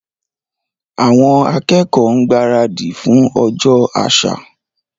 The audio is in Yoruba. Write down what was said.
Àwọn akẹ́kọ̀ọ́ ń gbaradì fún ọjọ́ àṣà.